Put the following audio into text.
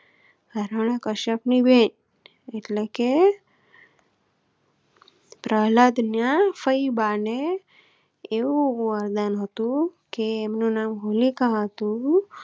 હરણી કશ્યપ ની બહેન એટલે કે પ્રહલાદ ના ફૈબા ને એવું વરદાન હતું કે મારું નામ હોલિકા હતું